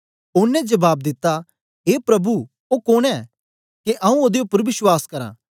ओनें जबाब दिता ए प्रभु ओ कोन ऐ के आऊँ ओदे उपर विश्वास करां